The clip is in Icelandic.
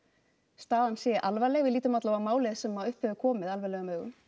staðan sé alvarleg við lítum alla vega á málið sem upp hefur komið alvarlegum augum